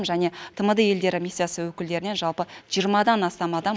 және тмд елдері миссиясы өкілдерінен жалпы жиырмадан астам адам